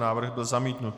Návrh byl zamítnut.